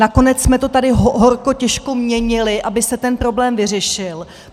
Nakonec jsme to tady horko těžko měnili, aby se ten problém vyřešil.